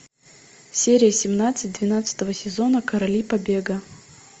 серия семнадцать двенадцатого сезона короли побега